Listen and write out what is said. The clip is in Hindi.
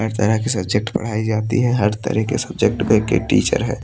हर तरह की सब्जेक्ट पढ़ाई जाती है। हर तरह के सब्जेक्ट को एक एक टीचर है।